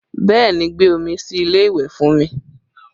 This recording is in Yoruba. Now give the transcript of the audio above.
Bẹẹ ni, gbé omi sí ilé ìwẹ̀ fún mi